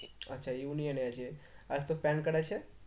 আচ্ছা union এ আছে আর তোর PAN card আছে?